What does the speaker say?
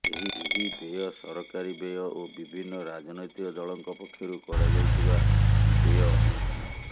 ଏହି ବ୍ୟୟ ସରକାରୀ ବ୍ୟୟ ଓ ବିଭିନ୍ନ ରାଜନୈତିକ ଦଳଙ୍କ ପକ୍ଷରୁ କରାଯାଇଥିବା ବ୍ୟୟ ଅନ୍ୟତମ